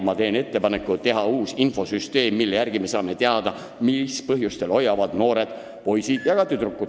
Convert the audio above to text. Ma teen ettepaneku teha uus infosüsteem, mille abil me saame teada, mis põhjustel hoiavad noored poisid ja tüdrukud ajateenistusest eemale.